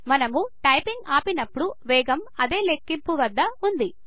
మనము టైపింగ్ ఆపినప్పుడు వేగం అదే లెక్కింపు వద్ద ఉంది